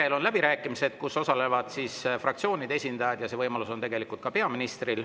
Siis on läbirääkimised, kus osalevad fraktsioonide esindajad ja see võimalus on tegelikult ka peaministril.